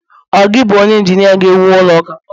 ọ gi bu onye injinia ga ewu ulo uka?